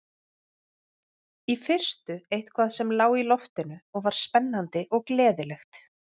Í fyrstu eitthvað sem lá í loftinu og var spennandi og gleðilegt.